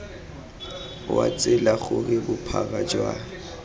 wa tsela gore bophara jwa